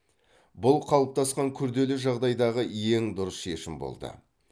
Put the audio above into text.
бұл қалыптасқан күрделі жағдайдағы ең дұрыс шешім болды